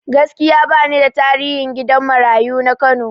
Gaskiya bani da tarihin gidan marayu na Kano